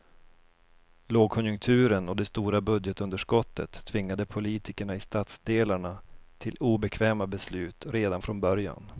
Lågkonjunkturen och det stora budgetunderskottet tvingade politikerna i stadsdelarna till obekväma beslut redan från början.